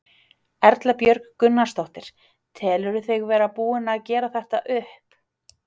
Erla Björg Gunnarsdóttir: Telurðu þig vera búinn að gera þetta upp?